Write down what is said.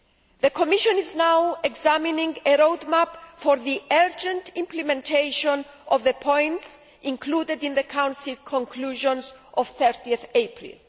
The Commission is now examining a road map for the urgent implementation of the points included in the Council conclusions of 30 April.